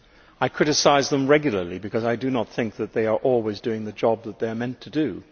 I criticise them regularly because I do not think that they are always doing the job that they are meant to do.